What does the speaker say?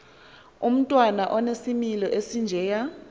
umntwana onesimilo esinjeya